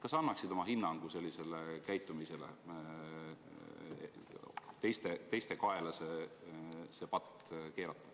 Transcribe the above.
Kas sa annaksid oma hinnangu sellisele käitumisele, et püütakse see patt teiste kaela keerata?